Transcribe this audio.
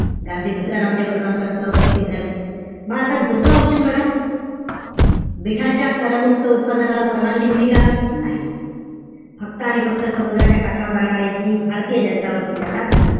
गांधी दुसऱ्या round table conference ला उपस्थित झाले. म आता दुसरं option बघा. मिठाच्या करमुक्त उत्पादनाला परवानगी दिली का? नाही. फक्त आणि फक्त समुद्राच्या काठावर राहणारे जी भारतीय जनता होती त्यांनाच,